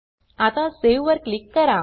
आता सावे वर क्लिक करा